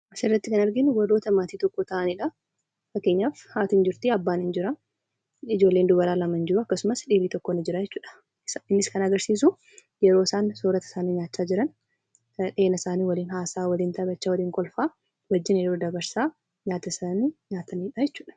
Asirratti kan arginu warroota maatii tokko ta'anidha. Fakkeenyaaf, haati ni jirti, abbaan ni jira, ijoolleen dubaraa lama ni jiru akkasumas dhiirri tokko ni jira jechuudha. Kunis kan agarsiisu yeroo isaan soorata isaanii nyaachaa jiran waliin haasa'aa , waliin taphachaa, waliin kolfaa wajjiniin yeroo dabarsaa nyaata isaanii nyaatanidha jechuudha.